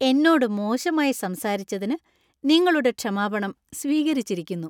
എന്നോട് മോശമായി സംസാരിച്ചതിനു നിങ്ങളുടെ ക്ഷമാപണം സ്വീകരിച്ചിരിക്കുന്നു.